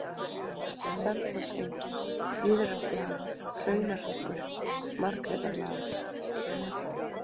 Selfossengi, Víðraflaga, Hraunahryggur, Margrétarlág